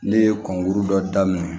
Ne ye kunkuru dɔ daminɛ